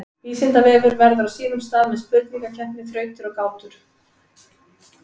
Vísindavefurinn verður á sínum stað með spurningakeppni, þrautir og gátur.